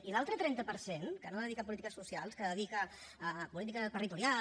i l’altre trenta per cent que no dedica a polítiques socials que dedica a política territorial